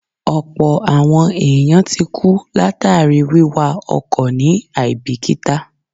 Ọ̀pọ̀ àwọn èèyàn ti kú látàríi wíwa ọkọ̀ ní àíbìkítà